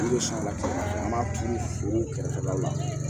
I bɛ salati an b'a turu foro kɛrɛfɛ la